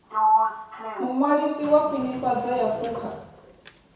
muṅwalisi wa khwinifhadzo ya phukha